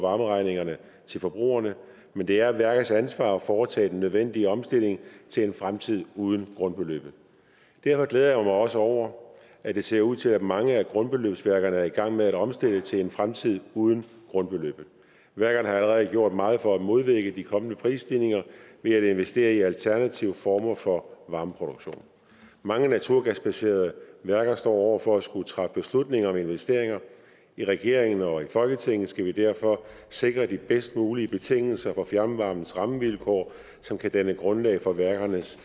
varmeregningerne til forbrugerne men det er værkets ansvar at foretage den nødvendige omstilling til en fremtid uden grundbeløbet derfor glæder jeg mig også over at det ser ud til at mange af grundbeløbsværkerne er i gang med at omstille til en fremtid uden grundbeløbet værkerne har allerede gjort meget for at modvirke de kommende prisstigninger ved at investere i alternative former for varmeproduktion mange naturgasbaserede værker står over for at skulle træffe beslutninger om investeringer i regeringen og i folketinget skal vi derfor sikre de bedst mulige betingelser for fjernvarmens rammevilkår som kan danne grundlag for værkernes